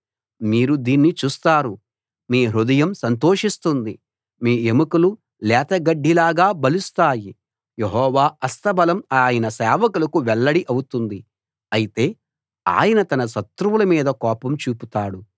మీరు దీన్ని చూస్తారు మీ హృదయం సంతోషిస్తుంది మీ ఎముకలు లేతగడ్డిలాగా బలుస్తాయి యెహోవా హస్తబలం ఆయన సేవకులకు వెల్లడి అవుతుంది అయితే ఆయన తన శత్రువుల మీద కోపం చూపుతాడు